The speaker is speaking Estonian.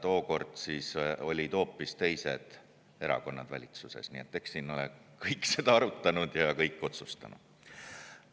Tookord olid hoopis teised erakonnad valitsuses, nii et eks siin ole kõik seda arutanud ja kõik ole otsustanud.